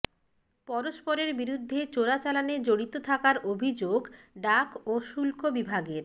পরস্পরের বিরুদ্ধে চোরাচালানে জড়িত থাকার অভিযোগ ডাক ও শুল্ক বিভাগের